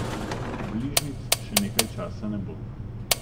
Bližnjic še nekaj časa ne bo.